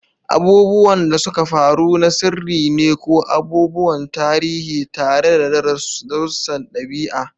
Abubuwan da suka faru na sirri ne ko abubuwan tarihi tare da darussan ɗabi'a